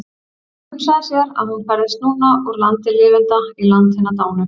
Hún hugsaði sér að hún færðist núna úr landi lifenda í land hinna dánu.